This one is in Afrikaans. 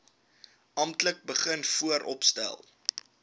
amptelik begin vooropstel